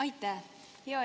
Aitäh!